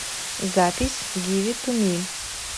запись гиви ту ми